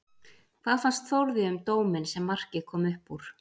Hvað fannst Þórði um dóminn sem markið kom upp úr?